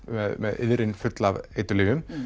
með iðrin full af eiturlyfjum